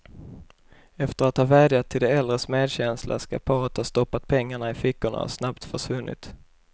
Efter att ha vädjat till de äldres medkänsla skall paret ha stoppat pengarna i fickorna och snabbt försvunnit.